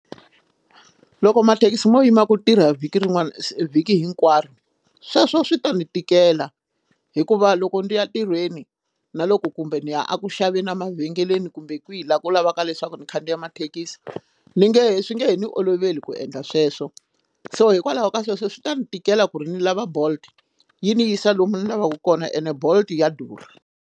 Loko mathekisi mo yima ku tirha vhiki rin'wani vhiki hinkwaro sweswo swi ta ni tikela hikuva loko ndi ya ntirhweni na loko kumbe ni ya eku xaveni emavhengeleni kumbe kwini hi laha u lavaka leswaku ni khandziya mathekisi ni nge swi nge he ni oloveli ku endla sweswo so hikwalaho ka sweswo swi ta ni tikela ku ri ni lava bolt yi ni yisa lomu ni lavaka kona ene bolt ya durha.